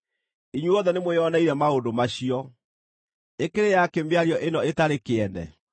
Inyuothe nĩmwĩoneire maũndũ macio. Ĩkĩrĩ yakĩ mĩario ĩno ĩtarĩ kĩene?